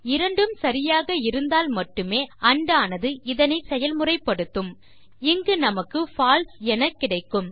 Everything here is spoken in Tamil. இரண்டும் சரியாக இருந்தால் மட்டுமே andஆனது இதனை செயல்முறைப்படுத்தும் இங்கு நமக்கு பால்சே என கிடைக்கும்